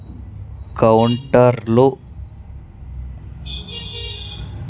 కౌంటర్లు .